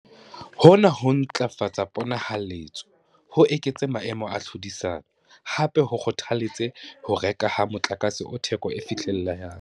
Hona ho tla ntlafatsa pona-haletso, ho eketse maemo a tlhodisano, hape ho kgotha-letse ho rekwa ha motlakase o theko e fihlellehang.